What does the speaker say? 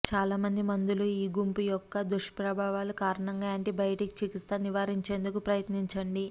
చాలా మంది మందులు ఈ గుంపు యొక్క దుష్ప్రభావాల కారణంగా యాంటీబయాటిక్ చికిత్స నివారించేందుకు ప్రయత్నించండి